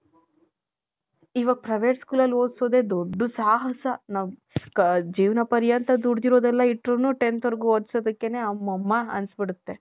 ಇವಗ್ private school ಅಲ್ಲಿ ಓದ್ಸದೆ ದೊಡ್ಡ ಸಾಹಸ ಜೀವನ ಪರಿಯಂತ ದುದ್ದಿರದ್ಯೆಲ್ಲ ಇಟ್ತ್ರುನು tenth ವರ್ಗು ಓದ್ಸೋದಕೆನೆ ಅಮಮ್ಮ ಅನ್ಸ್ಬುಡುಥೆ .